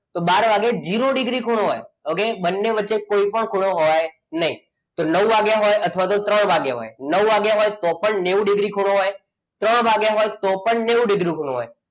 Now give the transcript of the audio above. તો બાર વાગે જીરો ડિગ્રી ખૂણો હોય. okay બંને વચ્ચે કોઈ પણ, ખૂણો હોય નહીં તો નવ વાગ્યા હોય અથવા તો ત્રણ વાગ્યા હોય નવ વાગ્યા હોય તો પણ નેવું ડિગ્રી ખૂણો હોય ત્રણ વાગ્યા હોય તોપણ નેવું ડીગ્રી ખૂણો હોય.